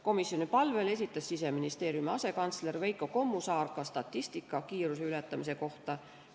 Komisjoni palvel esitas Siseministeeriumi asekantsler Veiko Kommusaar ka statistika kiiruse ületamise kohta.